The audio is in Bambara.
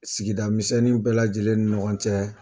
Sigida misɛnnin bɛɛ lajɛlen ni ɲɔgɔn cɛ